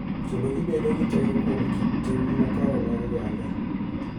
Kendo gibedo gi teko kuom kit tim makare mag oganda.